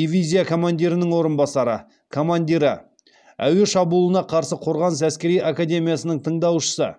дивизия командирінің орынбасары командирі әуе шабуылына қарсы қорғаныс әскери академиясының тыңдаушысы